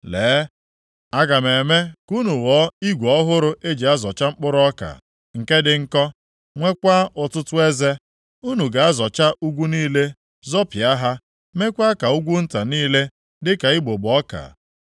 “Lee, aga m eme ka unu ghọọ igwe ọhụrụ eji azọcha mkpụrụ ọka nke dị nkọ, nwekwa ọtụtụ eze. Unu ga-azọcha ugwu niile zọpịa ha, meekwa ka ugwu nta niile dịka igbugbo ọka.